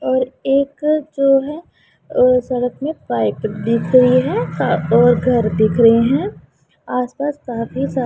और एक जो है सड़क में पाइप दीख री है और घर दिख रहे हैं आस पास काफी सा--